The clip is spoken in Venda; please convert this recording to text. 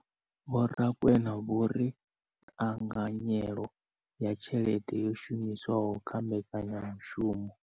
Vho Rakwena vho ri ṱhanganyelo ya tshelede yo shumiswaho kha mbekanyamushumo.